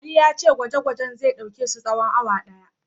Ali ya ce gwaje-gwajen zai ɗauke su tsawon awa ɗaya.